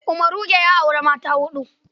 Umaruge ya auri mata ta huɗu.